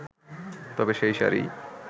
তবে সেই শাড়ি